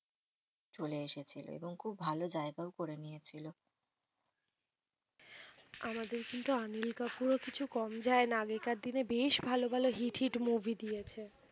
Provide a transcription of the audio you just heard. চলে এসেছিল। এবং খুব ভালো জায়গাও করে নিয়ে ছিল। আমাদের কিন্তু অনিল কাপুর ও কিছু কম যায় না। আগেকার দিনে বেশ ভালো ভালো হিট হিট মুভি দিয়েছে।